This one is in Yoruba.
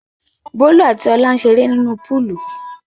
Bólú àti Ọlá ń ṣeré nínú púúlù.